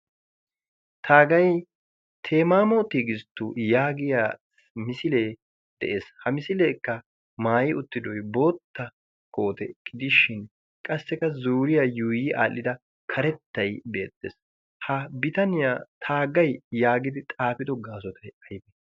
taagay temaamo tigisttu yaagiya misilee de'ees ha misileekka maayi uttidoy bootta koote gidishin qassikka zuuriyaa yuuyi aadhdhida karettay beettees ha bitaniyaa taaggay yaagidi xaafido gaasotay aybe